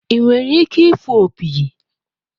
Ị nwere ike ịfụ opi?